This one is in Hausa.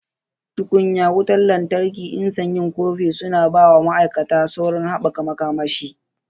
Tukunya wutan lantarki nsa yin kofi suna ba wa ma'aikata saurin haɓaka makamashi.